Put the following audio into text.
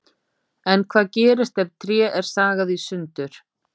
En hvað gerist ef tré er sagað í sundur?